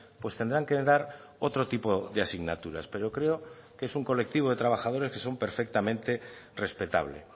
pues tendrán que dar otro tipo de asignaturas pero creo que es un colectivo de trabajadores que son perfectamente respetable